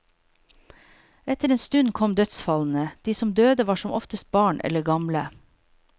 Etter en stund kom dødsfallene, de som døde var som oftest barn eller gamle.